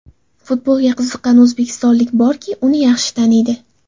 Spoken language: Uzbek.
Futbolga qiziqqan o‘zbekistonlik borki, uni yaxshi taniydi.